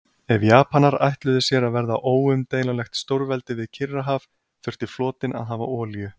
Ef Japanar ætluðu sér að verða óumdeilanlegt stórveldi við Kyrrahaf, þurfti flotinn að hafa olíu.